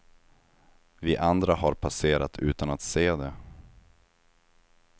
Vi andra har passerat utan att se det.